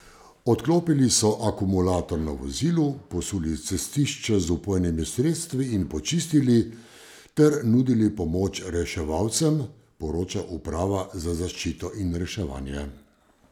Odklopili so akumulator na vozilu, posuli cestišče z vpojnimi sredstvi in počistili, ter nudili pomoč reševalcem, poroča uprava za zaščito in reševanje.